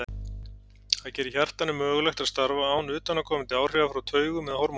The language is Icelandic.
Það gerir hjartanu mögulegt að starfa án utanaðkomandi áhrifa frá taugum eða hormónum.